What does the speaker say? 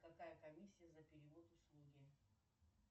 какая комиссия за перевод услуги